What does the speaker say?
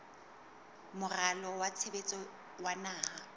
moralo wa tshebetso wa naha